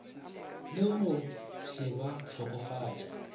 le go se ba hlokofatše